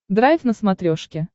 драйв на смотрешке